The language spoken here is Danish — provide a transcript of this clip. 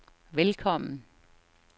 velkommen